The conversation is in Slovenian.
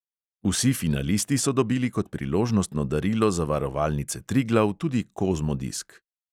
Vsi finalisti so dobili kot priložnostno darilo zavarovalnice triglav tudi kozmodisk.